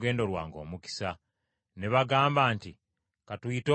Ne bagamba nti, “Ka tuyite omuwala tumubuuze.”